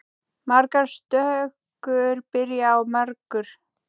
Margar stökur byrja á margur.